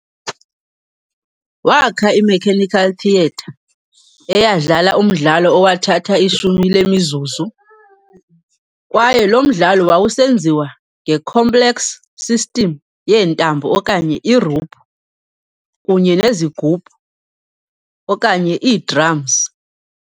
Waakha i-mechanical theater eyadlala umdlalo owathatha ishumi lemizuzu, kwaye lo mdlalo wawusenziwa nge-complex system yeentambo okanye iiruphu kunye nezigubhu okanye ii-drums.